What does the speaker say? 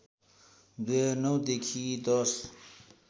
२००९ देखि १०